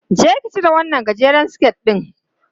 Je ki cire wannan gajeren siket ɗin!